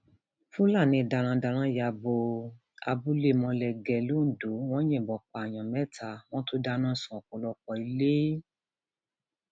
àwọn òṣèlú tí wọn ndu ipò yìí pọ ṣùgbọn àwọn àwọn méjì péré ni wọn jẹ asíwájú